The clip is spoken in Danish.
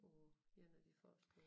På en af de første